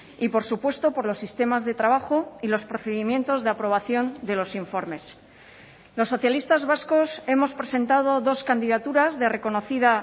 y por supuesto por los sistemas de trabajo y los procedimientos de aprobación de los informes los socialistas vascos hemos presentado dos candidaturas de reconocida